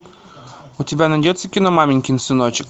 у тебя найдется кино маменькин сыночек